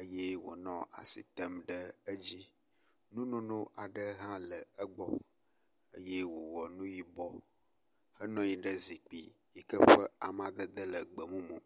eye wonɔ asi tem ɖe edzi. Nu nono aɖe hã le egbɔ eye wowɔ nu yibɔ me. Enɔ anyi ɖe zikpui yi ke ƒe amadede le gbemumu.